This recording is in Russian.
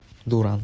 дуран